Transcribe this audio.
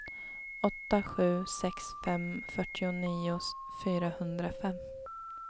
åtta sju sex fem fyrtionio fyrahundrafem